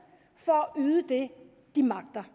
for at yde det de magter